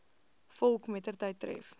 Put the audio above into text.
volk mettertyd tref